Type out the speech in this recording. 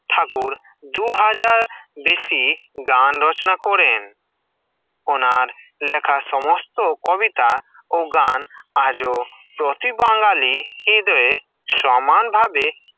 ঠাকুর দু হাজার বেশি গান রচনা করেন, ওনার লেখা সমস্ত কবিতা ও গান আজ প্রতি বাঙালি হৃদয় সমান ভাবে